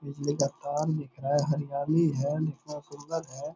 बिजली का तार दिख रहा है हरियाली है देखने में सुन्दर है ।